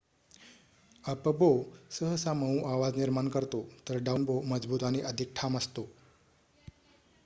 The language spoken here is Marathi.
अप-बो सहसा मऊ आवाज निर्माण करतो तर डाऊन-बो मजबूत आणि अधिक ठाम असतो